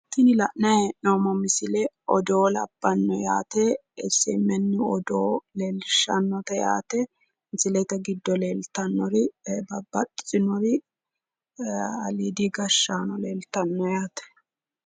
tini la'nanni hee'noommo misile odoo labbanno yaate SMN odoo leellishshannote yaate misilenke giddo leeltannori babbaxitinori ee aliidi gashshaano leeltanno yaate.